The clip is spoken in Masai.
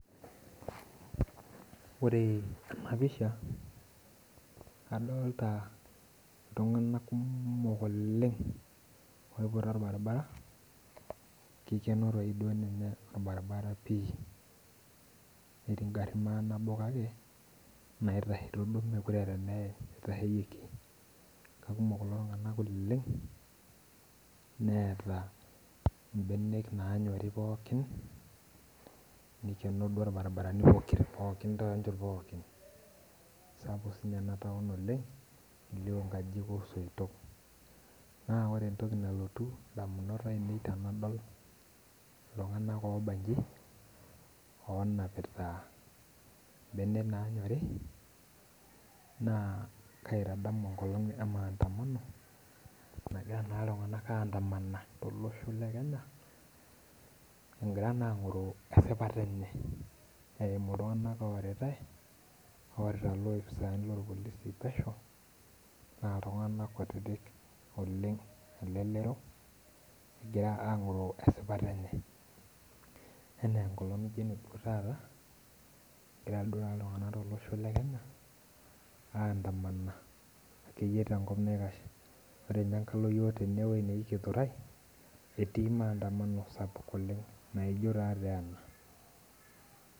Ore enapisha, adolta iltung'anak kumok oleng oiputa orbaribara, kikeno toi ninye orbaribara pi. Netii garrin manabo kake, naitaheto duo mekure eeta eneim itasheyieki. Kakumok kulo tung'anak oleng, neeta ibenek nanyori pookin, nikeno duo irbarabarani pokira, pookin tonchot pookin. Sapuk sinye enataon oleng, elio nkajijik osoitok. Naa ore entoki nalotu indamunot ainei tenadol iltung'anak obaji, onapita ibenek nanyori, naa kaitadamu enkolong e Maandamano, nagira naa iltung'anak ah andamana tolosho le Kenya, egira naa ang'oro esipata enye. Eimu iltung'anak oritai, orita ilopisaani lorpolisi pesho, na iltung'anak kutitik oleng elelero, egira ang'oroo esipata enye. Enengolong' nijo eneduo taata, egira duo taata iltung'anak tolosho le Kenya, andamana akeyie tenkop naikash. Ore nye enkalo yiok enewoi neji Githurai, etii maandamano sapuk oleng naijo tate ena.